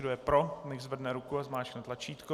Kdo je pro, nechť zvedne ruku a zmáčkne tlačítko.